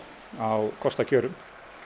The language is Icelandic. á kostakjörum